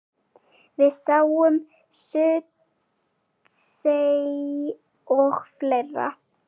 Við sáum Surtsey og fleira.